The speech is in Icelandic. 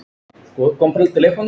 Góð stelpa.